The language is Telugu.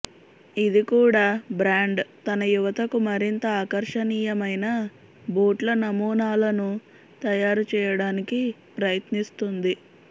ఇది కూడా బ్రాండ్ తన యువతకు మరింత ఆకర్షణీయమైన బూట్ల నమూనాలను తయారు చేయడానికి ప్రయత్నిస్తుంది